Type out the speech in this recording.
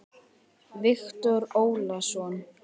Viktor Ólason.